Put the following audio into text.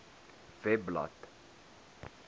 webblad